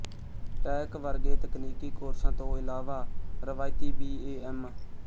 tech ਵਰਗੇ ਤਕਨੀਕੀ ਕੋਰਸਾਂ ਤੋਂ ਇਲਾਵਾ ਰਵਾਇਤੀ ਬੀ ਏ ਐਮ